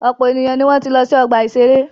Ọ̀pọ̀ èèyàn ni wọ́n ti lọ sí ọgbà-ìṣeré